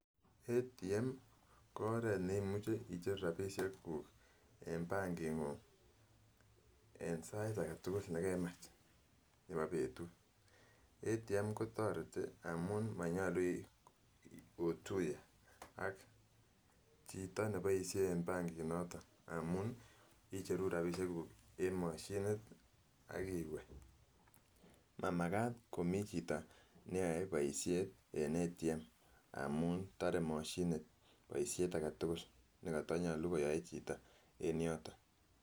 ATM ko oret nemuchi icheruu rabishek kuuk en bankit nguny en sait agetukul nekemach nebo betut. ATM kotoreti amun monyolu otuye ak chito neboishe en bankit noton amun icheruu rabishek kuuk en mashinit ak iwee mamakat komii chito neyoe boishet en ATM amun tore moshinit boishet agetukul nekotonyolu koyoe chito en yoton.